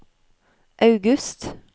august